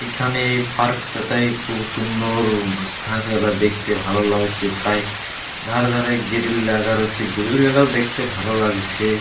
এখানেই এই পার্কটাতে খুব সুন্দর ঘাসগুলা দেখতে ভালো লাগছে তাই ধারে ধারে গিরিল লাগা রয়েছে। গ্রিল -গুলো দেখতে ভালো লাগছে।